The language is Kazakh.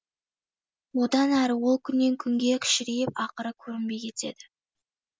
одан әрі ол күннен күнге кішірейіп ақыры көрінбей кетеді